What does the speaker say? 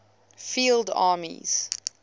field armies